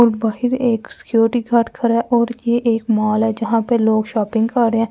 अब बाहिर एक सिक्योरिटी गार्ड खरा है और ये एक मॉल है जहाँ पे लोग शॉपिंग कर रे है ।